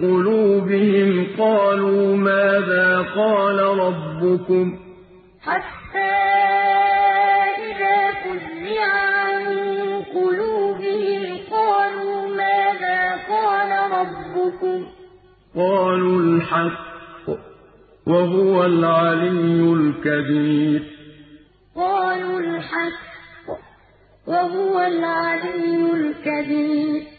قُلُوبِهِمْ قَالُوا مَاذَا قَالَ رَبُّكُمْ ۖ قَالُوا الْحَقَّ ۖ وَهُوَ الْعَلِيُّ الْكَبِيرُ وَلَا تَنفَعُ الشَّفَاعَةُ عِندَهُ إِلَّا لِمَنْ أَذِنَ لَهُ ۚ حَتَّىٰ إِذَا فُزِّعَ عَن قُلُوبِهِمْ قَالُوا مَاذَا قَالَ رَبُّكُمْ ۖ قَالُوا الْحَقَّ ۖ وَهُوَ الْعَلِيُّ الْكَبِيرُ